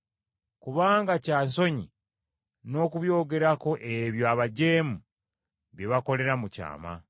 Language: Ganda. Kubanga kya nsonyi n’okubyogerako ebyo abajeemu bye bakolera mu kyama.